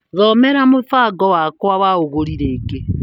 Thomera mũbango wakwa wa ũgũri rĩngĩ.